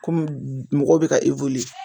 Komi mɔgɔ bɛ ka